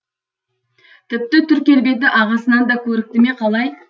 тіпті түр келбеті ағасынан да көрікті ме қалай